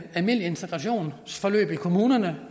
almindelige integrationsforløb i kommunerne